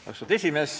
Austatud esimees!